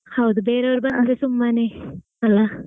ಹೌದು ಬೇರೆಯವರು ಬಂದರೆ ಸುಮ್ಮನೆ ಅಲ್ಲಾ.